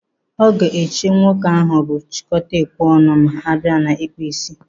Ọ ga-eche nwoke ahụ bụ chịkọta ekwe ọnụ ma abịa n'ịkpụ ísí?